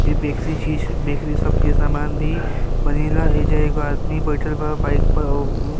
इ बक्सी चीज बैकेरी शॉप के सामान भी बनेला। एईजा एगो आदमी बैठल बा बाइक पर औरउ --